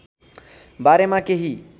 बारेमा केही